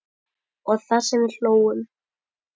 Og það sem við hlógum.